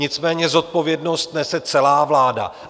Nicméně zodpovědnost nese celá vláda.